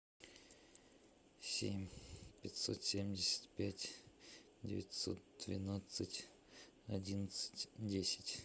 семь пятьсот семьдесят пять девятьсот двенадцать одиннадцать десять